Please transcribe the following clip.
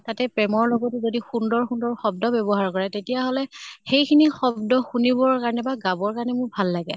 তাতে প্ৰেমৰ লগতো যদি সুন্দৰ সুন্দৰ শব্দ ব্য়ৱহাৰ কৰে, তেতিয়াহʼলে সেইখিনি শব্দ শুনিবৰ কাৰণে বা গাবৰ কাৰণে মোক ভাল লাগে ।